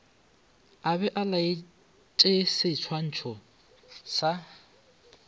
a be a laetšeseswantšho sa